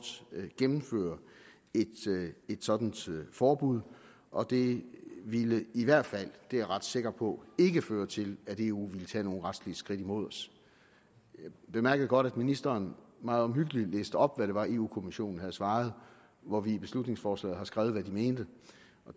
gennemføre et sådant forbud og det ville i hvert fald det er jeg ret sikker på ikke føre til at eu ville tage nogle retslige skridt mod os jeg bemærkede godt at ministeren meget omhyggeligt læste op hvad det var europa kommissionen havde svaret hvor vi i beslutningsforslaget har skrevet hvad de mente